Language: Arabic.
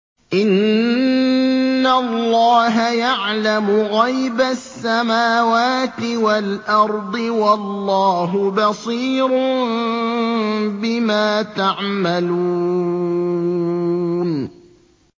إِنَّ اللَّهَ يَعْلَمُ غَيْبَ السَّمَاوَاتِ وَالْأَرْضِ ۚ وَاللَّهُ بَصِيرٌ بِمَا تَعْمَلُونَ